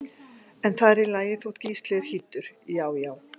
En það er í lagi þótt Gísli sé hýddur, já já!